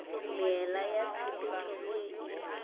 meela ya tshepetšo ye e